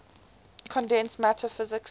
condensed matter physics